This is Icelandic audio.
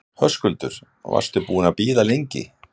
Höskuldur: Varstu búinn að bíða lengi?